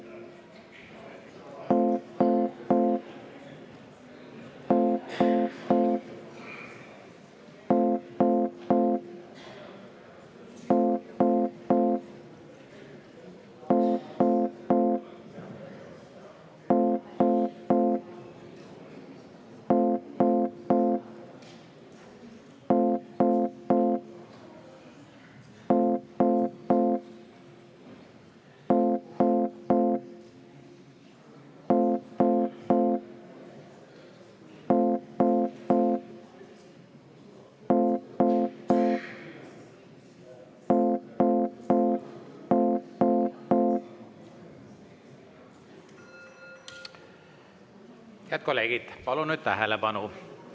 Head kolleegid, palun nüüd tähelepanu!